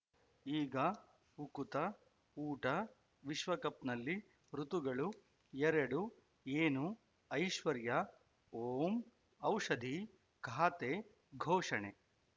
ಈಗ ಉಕುತ ಊಟ ವಿಶ್ವಕಪ್‌ನಲ್ಲಿ ಋತುಗಳು ಎರಡು ಏನು ಐಶ್ವರ್ಯಾ ಓಂ ಔಷಧಿ ಖಾತೆ ಘೋಷಣೆ